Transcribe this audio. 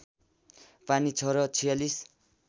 पानी छ र ४६